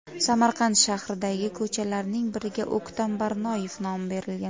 Samarqand shahridagi ko‘chalarning biriga O‘ktam Barnoyev nomi berilgan.